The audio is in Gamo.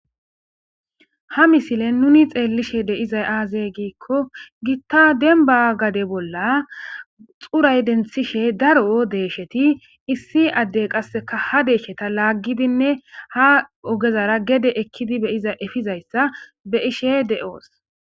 Ha misileni nuni xeliishshe dizayi aze gizayisa gidikko gita demibba gade bola xurayi denthishe daro deyishati issi adeyi qase ha deyisheta lagidi ha ogezara gede ekidi efizayisa beishshe deosi